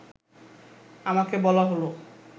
আমাকে বলা হলো